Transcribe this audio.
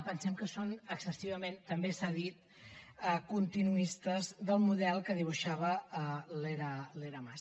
pensem que són excessivament també s’ha dit continuistes del model que dibuixava l’era mas